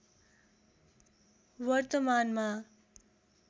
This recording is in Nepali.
वर्तमानमा